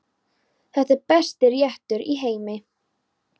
Þetta er besti réttur í heimi.